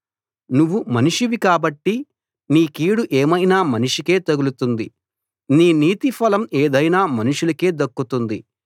నువ్వు మనిషివి కాబట్టి నీ కీడు ఏమైనా మనిషికే తగులుతుంది నీ నీతి ఫలం ఏదైనా మనుషులకే దక్కుతుంది